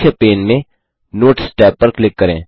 मुख्य पेन में notes tab पर क्लिक करें